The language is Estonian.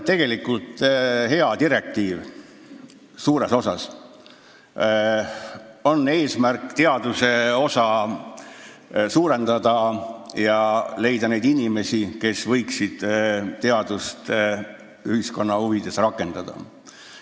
Tegelikult on see suuresti hea direktiiv, mille eesmärk on suurendada teaduse osa ja leida juurde neid inimesi, kes võiksid teadust ühiskonna huvides rakendada.